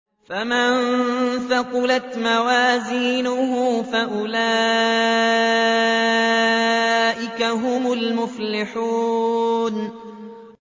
فَمَن ثَقُلَتْ مَوَازِينُهُ فَأُولَٰئِكَ هُمُ الْمُفْلِحُونَ